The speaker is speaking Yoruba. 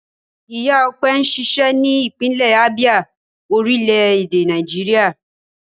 Ìyá Ọpẹ́ ń ṣiṣẹ́ ní ìpínlẹ̀ Abia, orílẹ̀-èdè Nàìjíríà.